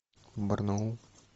барнаул